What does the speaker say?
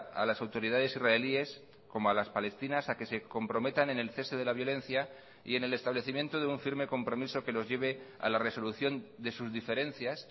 a las autoridades israelíes como a las palestinas a que se comprometan en el cese de la violencia y en el establecimiento de un firme compromiso que los lleve a la resolución de sus diferencias